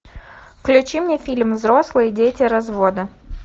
включи мне фильм взрослые дети развода